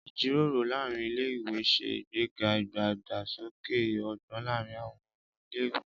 ìjíròrò láàrín ilé ìwé se ìgbéga idagbasoke ogbón láàrín àwọn ọmọ ilé ìwé